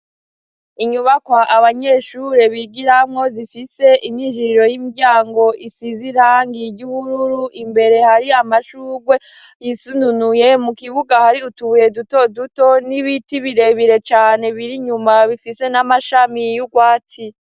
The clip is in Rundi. Inyubakwa abanyeshure bigiramwo zifise inijiriro y'imdyango isizirang iry'ubururu imbere hari amashurwe yisununuye mu kibuga hari utubuye duto duto n'ibiti birebire cane biri inyuma bifise n'amashami yiyo ugwatsi.